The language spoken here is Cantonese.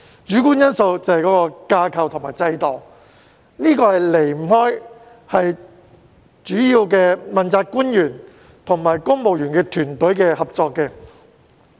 主觀因素就是架構和制度，這離不開問責官員和公務員團隊的合作。